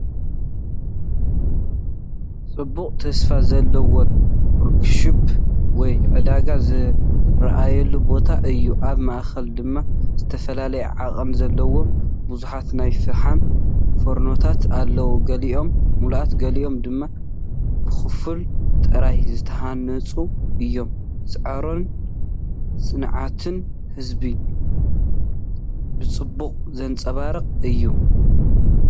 ጽዑቕን ተስፋ ዘለዎን ወርክሾፕ ወይ ዕዳጋ ዝረኣየሉ ቦታ እዩ፡፡ ኣብ ማእከል ድማ ዝተፈላለየ ዓቐን ዘለዎም ብዙሓት ናይ ፈሓም ፎርኖታት ኣለዉ፤ ገሊኦም ምሉኣት ገሊኦም ድማ ብኸፊል ጥራይ ዝተሃንጹ እዮም። ጻዕርን ጽንዓትን ህዝቢ ብጽቡቕ ዘንጸባርቕ እዩ፡፡